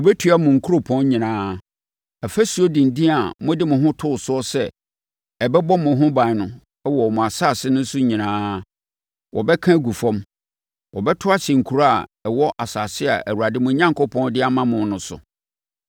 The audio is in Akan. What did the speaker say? Wɔbɛtua mo nkuropɔn nyinaa. Afasuo denden a mode mo ho too so sɛ ɛbɛbɔ mo ho ban wɔ mo asase no so no nyinaa, wɔbɛka agu fam. Wɔbɛto ahyɛ nkuro a ɛwɔ asase a Awurade mo Onyankopɔn de ama mo no so.